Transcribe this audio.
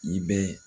I bɛ